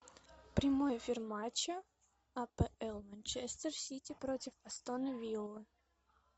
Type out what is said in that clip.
прямой эфир матча апл манчестер сити против астон виллы